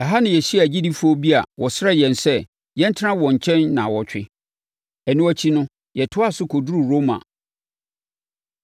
Ɛha na yɛhyiaa agyidifoɔ bi a wɔsrɛɛ yɛn sɛ, yɛntena wɔn nkyɛn nnawɔtwe. Ɛno akyi no, yɛtoaa so kɔduruu Roma.